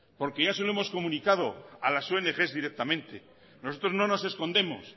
porque ya se lo hemos comunicado a las ongs directamente nosotros no nos escondemos